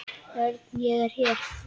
Örn, ég er hér